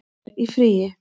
er í fríi